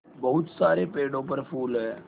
बहुत सारे पेड़ों पर फूल है